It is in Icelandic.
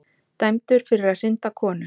Dæmdur fyrir að hrinda konu